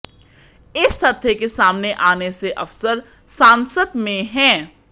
इस तथ्य के सामने आने से अफसर सांसत में हैं